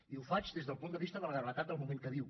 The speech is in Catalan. i ho faig des del punt de vista de la gravetat del moment que viu